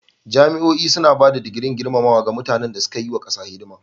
Jami'o'i suna ba da digirin gurmamawa ga mutanan na suka yi wa kasa hidima.